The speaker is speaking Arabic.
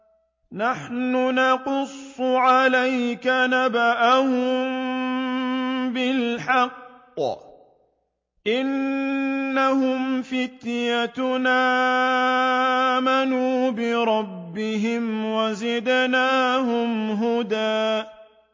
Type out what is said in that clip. نَّحْنُ نَقُصُّ عَلَيْكَ نَبَأَهُم بِالْحَقِّ ۚ إِنَّهُمْ فِتْيَةٌ آمَنُوا بِرَبِّهِمْ وَزِدْنَاهُمْ هُدًى